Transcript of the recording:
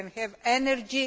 we can have energy